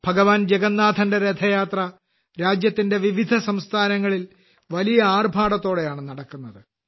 ഭഗവാൻ ജഗന്നാഥന്റെ രഥയാത്ര രാജ്യത്തിന്റെ വിവിധ സംസ്ഥാനങ്ങളിൽ വലിയ ആർഭാടത്തോടെയാണ് നടക്കുന്നത്